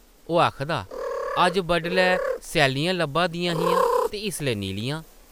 ओह् आखदा, ‘‘अज्ज बडलै सैल्लियां लब्भा दियां हियां ते इसलै नीलियां ।’’